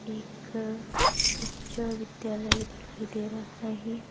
एक उच्च विद्यालय दिखाई दे रहा है.